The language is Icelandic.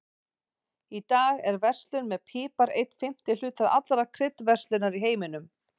Í dag er verslun með pipar einn fimmti hluti allrar kryddverslunar í heiminum.